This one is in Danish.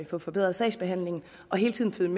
få forbedret sagsbehandlingen og hele tiden